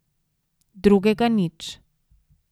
Drugega nič.